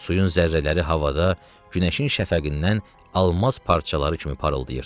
Suyun zərrələri havada, günəşin şəfəqindən almaz parçaları kimi parıldayırdı.